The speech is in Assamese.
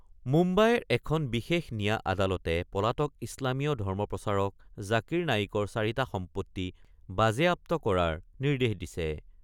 মুম্বাইৰ এখন বিশেষ নিয়া আদালতে পলাতক ইছলামীয় ধৰ্ম প্ৰচাৰক জাকিৰ নায়িকৰ চাৰিটা সম্পত্তি বাজেয়াপ্ত কৰাৰ নিৰ্দেশ দিছে।